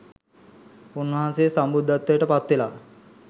උන්වන්සේ සම්බුද්ධත්වයට පත්වෙලා